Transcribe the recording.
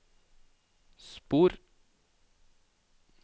spor